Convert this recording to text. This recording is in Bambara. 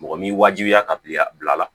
Mɔgɔ m'i wajibiya ka bila a la